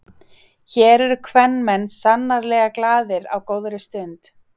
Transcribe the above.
Hér eru kvenmenn sannarlega glaðir á góðri stund.